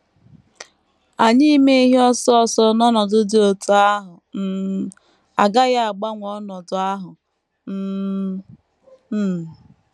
Anyị ime ihe ọsọ ọsọ n’ọnọdụ dị otú ahụ um agaghị agbanwe ọnọdụ ahụ um. um